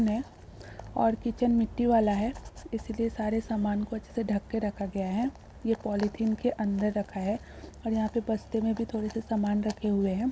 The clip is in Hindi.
ने और किचन मिट्टी वाला है| इसलिए सारे समान को अच्छे से ढक के रखा गया है| ये पॉलिथीन के अंदर रखा है और यहाँ पे बस्ते में भी थोड़े से समान रखे हुए हैं।